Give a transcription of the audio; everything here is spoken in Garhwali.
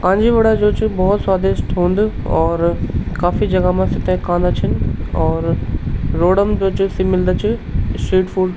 कांजी वडा जू च भौत स्वादिष्ट हुंद और काफी जगह मा सेथे खांदा छिन और रोड म जो च सी मिलदा च स्ट्रीट फूड ।